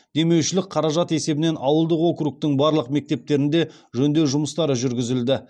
демеушілік қаражат есебінен ауылдық округтің барлық мектептерінде жөндеу жұмыстары жүргізілді